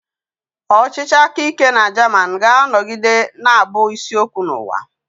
Ọchịchị aka ike na Japan ga-anọgide na-abụ isi okwu n'ụwa.